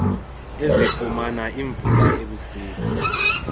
ezifumana iimvula ebusika